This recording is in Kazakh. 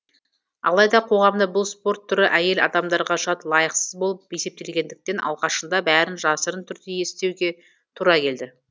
алайда қоғамда бұл спорт түрі әйел адамдарға жат лайықсыз болып есептелгендіктен алғашында бәрін жасырын түрде естеуге тура келді